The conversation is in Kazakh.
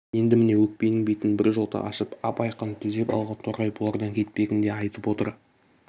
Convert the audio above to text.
енді міне өкпенің бетін біржолата ашып ап айқын түзеп алған торғай бұлардан кетпегін де айтып отыр